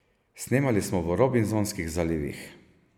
Snemali smo v robinzonskih zalivih.